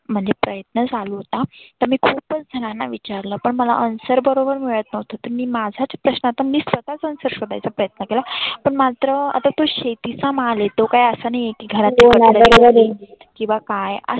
म्हणजे प्रयत्न चालू होता. तर मी खुपच झनांना विचारलं पण मला answer बरोबर मिळत नव्हतं. तर मी माझ्या प्रश्नांचा मी स्वतःच answer शोधायचा प्रयत्न केला. पण मात्र आता तु शेतीचा माल आहे तो काय असा नाहीए की खराब किंवा काय